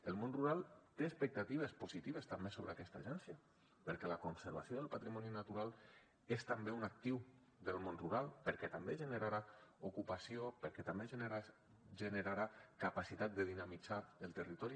el món rural té expectatives positives també sobre aquesta agència perquè la conservació del patrimoni natural és també un actiu del món rural perquè també generarà ocupació perquè també generarà capacitat de dinamitzar el territori